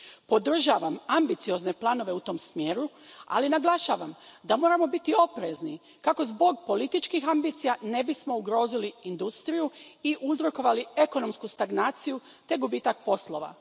Podržavam ambiciozne planove u tom smjeru, ali naglašavam da moramo biti oprezni kako zbog političkih ambicija ne bismo ugrozili industriju i uzrokovali ekonomsku stagnaciju te gubitak poslova.